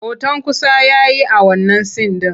Hoton kusa ya yi a wannan sin ɗin.